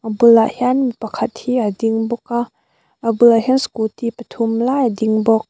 a bulah hian mipa khat hi a ding bawk a a bulah hian scooty pathum lai a ding bawk.